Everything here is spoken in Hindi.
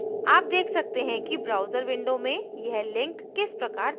आप देख सकते हैं कि browser window में यह link किस प्रकार दिखता है